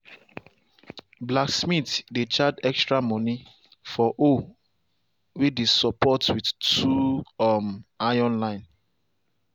blacksmith dey charge extra money for hoe way dey support with two um iron line.